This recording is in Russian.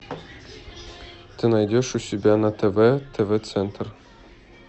ты найдешь у себя на тв тв центр